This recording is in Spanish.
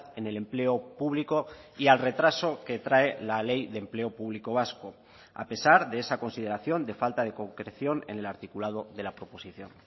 en el empleo público y al retraso que trae la ley de empleo público vasco a pesar de esa consideración de falta de concreción en el articulado de la proposición